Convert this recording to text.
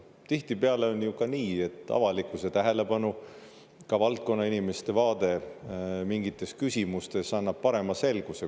Tihtipeale on ju ka nii, et avalikkuse tähelepanu, ka valdkonna inimeste vaade mingites küsimustes annab parema selguse.